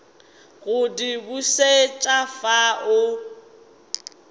go di bušet afa o